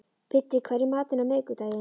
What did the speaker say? Biddi, hvað er í matinn á miðvikudaginn?